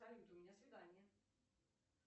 салют у меня свидание